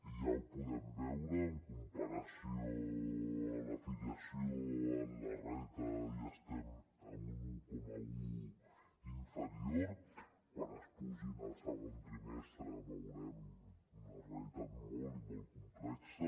i ja ho podem veure en comparació amb la filiació en el reta ja estem en un un coma un inferior quan es pugin al segon trimestre veurem una realitat molt i molt complexa